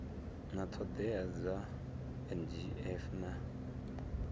na ṱhoḓea dza nqf na